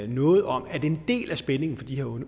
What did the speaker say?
noget om at en del af spændingen for de